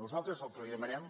nosaltres el que li demanem